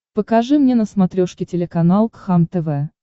покажи мне на смотрешке телеканал кхлм тв